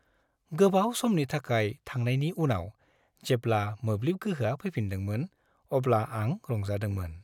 गोबाव समनि थाखाय थांनायनि उनाव जेब्ला मोब्लिब गोहोआ फैफिनदोंमोन अब्ला आं रंजादोंमोन।